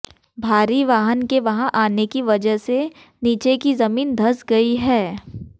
भारी वाहन के वहां आने की वजह से नीचे की जमीन धंस गयी है